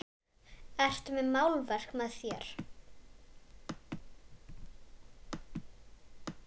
Ertu með málverk með þér?